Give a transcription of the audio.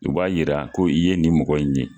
O b'a yira ko i ye nin mɔgɔ in ye.